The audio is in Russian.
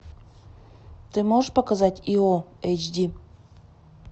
ты можешь показать ио эйч ди